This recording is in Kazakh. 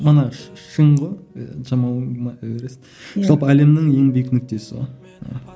мана шың ғой эверест иә жалпы әлемнің еңбек нүктесі ғой